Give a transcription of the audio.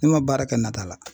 Ne ma baara kɛ nata la